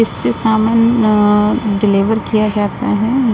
इससे सामान अ डिलीवर किया जाता है।